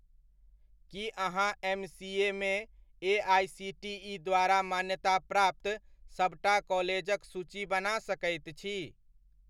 की अहाँ एमसीएमे एआइसीटीइ द्वारा मान्यताप्राप्त सबटा कॉलेजक सूची बना सकैत छी?